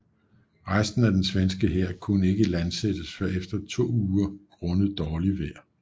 Resten af den svenske hær kunne ikke landsættes før efter to uger grundet dårlig vejr